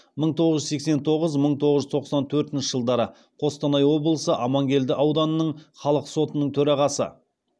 мың тоғыз жүз сексен тоғыз мың тоғыз жүз тоқсан төртінші жылдары қостанай облысы амангелді ауданының халық сотының төрағасы